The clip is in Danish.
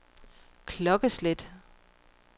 klokkeslæt